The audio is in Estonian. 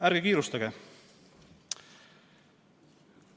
Ärge kiirustage.